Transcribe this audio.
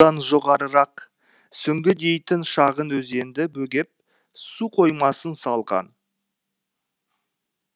жоғарырақ сүңгі дейтін шағын өзенді бөгеп су қоймасын салған